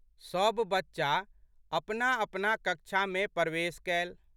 सब बच्चा अपनाअपना कक्षामे पर्वेश कएल।